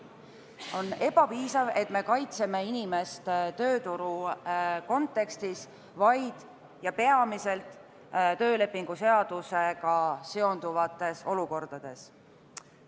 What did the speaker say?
On ebapiisav, et me kaitseme inimest tööturu kontekstis ainult ja peamiselt töölepinguseadusega seonduvates olukordades.